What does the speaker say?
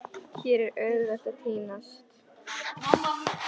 Hér er auðvelt að týnast.